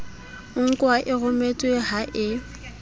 nkwa e rometswe ha e